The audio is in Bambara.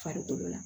Farikolo la